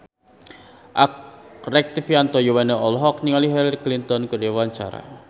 Rektivianto Yoewono olohok ningali Hillary Clinton keur diwawancara